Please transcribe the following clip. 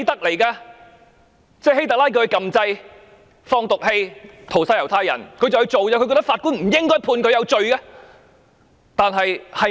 換言之，希特拉叫他按掣放毒氣屠殺猶太人，他便照辦，他覺得法官不應該判他有罪。